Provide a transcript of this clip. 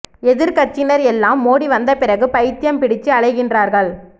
எதிர் கட்சியினர் எல்லாம் மோடி வந்த பிறகு பயித்தியம் பிடிச்சு அழைகின்றார்கள்